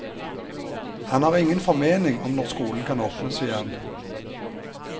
Han har ingen formening om når skolen kan åpnes igjen.